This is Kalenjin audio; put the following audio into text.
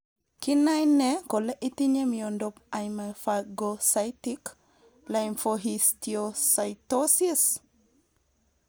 Kinae nee kole itinye miondop hemophagocytic lymphohistiocytosis?